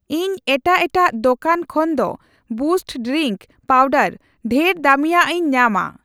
ᱤᱧ ᱮᱴᱟᱜ ᱮᱴᱟᱜ ᱫᱚᱠᱟᱱ ᱠᱷᱚᱱᱫᱚ ᱵᱩᱥᱴ ᱰᱨᱤᱝᱠ ᱯᱟᱣᱰᱟᱨ ᱰᱷᱮᱨ ᱫᱟᱹᱢᱤᱭᱟᱜ ᱤᱧ ᱧᱟᱢᱟ ᱾